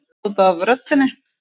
Bara út af röddinni.